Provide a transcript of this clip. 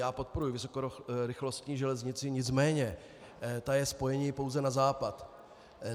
Já podporuji vysokorychlostní železnici, nicméně ta je spojením pouze na západ.